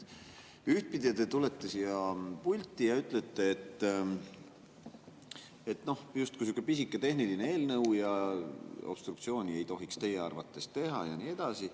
Te tulete siia pulti ja ütlete, et justkui sihuke pisike tehniline eelnõu ja obstruktsiooni ei tohiks teie arvates teha ja nii edasi.